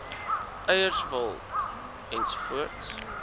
eiers wol ens